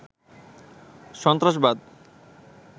সন্ত্রাসবাদ